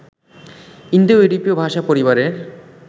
ইন্দোইউরোপীয় ভাষা পরিবারের